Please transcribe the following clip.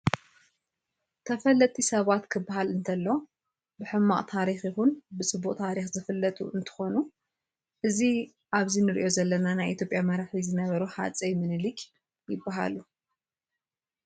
ተፈለጥቲ ሰባት ክበሃል እንተሎ ብሕማቅ ታሪክ ይኩን ብፅቡቅ ታሪክ ዝፍለጡ እነትከኑ እዚ ኣብዚ እንሪኦ ዘለና ናይ ኢትዮጰያ መራሒ ዝነበሩ ሃፀይ ሚኒሊክ ይበሃሉ።